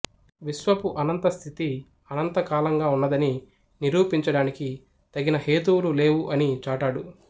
విశ్వపు అనంత స్థితి అనంత కాలంగా వున్నదని నిరూపించడాని తగిన హేతువులు లేవు అని చాటాడు